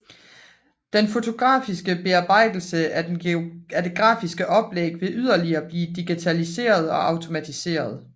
Den fotografiske bearbejdelse af det grafiske forlæg vil yderligere blive digitaliseret og automatiseret